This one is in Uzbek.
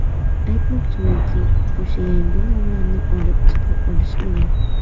Aytmoqchimanki, o‘sha yangi nomlarni olib chiqa olishmagan.